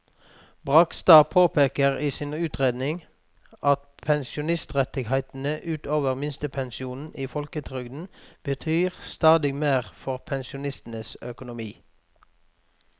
Bragstad påpeker i sin utredning at pensjonsrettighetene ut over minstepensjonen i folketrygden betyr stadig mer for pensjonistenes økonomi.